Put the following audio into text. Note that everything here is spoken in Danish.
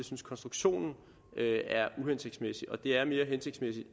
synes konstruktionen er uhensigtsmæssig og det er mere hensigtsmæssigt